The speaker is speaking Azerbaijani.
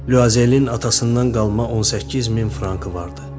Luazelin atasından qalma 18 min frankı vardı.